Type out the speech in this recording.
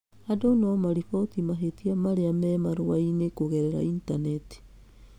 Andũ no mariboti mahĩtia marĩa me marua-inĩ kũgerera initaneti.